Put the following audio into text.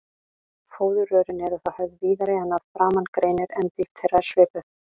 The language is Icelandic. Fóðurrörin eru þá höfð víðari en að framan greinir, en dýpt þeirra er svipuð.